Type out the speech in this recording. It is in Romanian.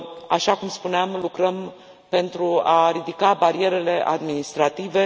Așa cum spuneam, lucrăm pentru a ridica barierele administrative.